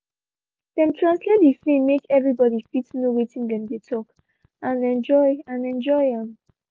dem translate the film make everyone fit know watin dem dey talk and enjoy and enjoy am